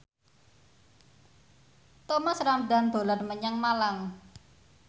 Thomas Ramdhan dolan menyang Malang